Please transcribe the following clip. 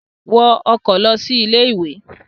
Wọ ọkọ̀ lọ sí ilé-ìwé!